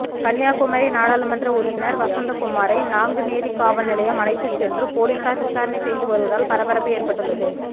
கன்னியாகுமரி நாடாளுமன்ற உறுப்பினர் வசந்தகுமாரை நாங்குநேரி காவல்நிலையம் அழைத்துச்சென்று போலீசார் விசாரணை செய்து வருவதால் பரபரப்பு ஏற்பட்டுள்ளது